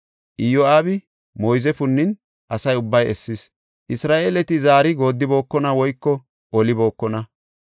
Iyo7aabi moyze punnin asa ubbay essis. Isra7eeleta zaari goodibookona woyko olibookona.